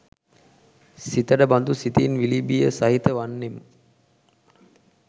සිතට බඳු සිතින් විලිබිය සහිත වන්නෙමු.